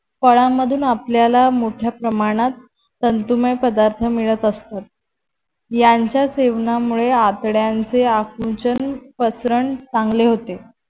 फळाण मधून आपल्याला मोठ्या प्रमाणात तंतुमय पदार्थ मिळत असतात. यांच्या सेवनामुळे आतड्यानचे आकुंचन पसरण चांगले होते.